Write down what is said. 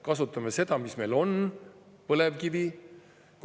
Kasutame seda, mis meil on: põlevkivi.